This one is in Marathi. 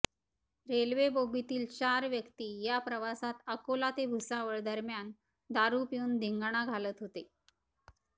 रेल्वे बोगीतील चार व्यक्ती या प्रवासात अकोला ते भुसावळ दरम्यान दारु पिऊन धिंगाणा घालत होते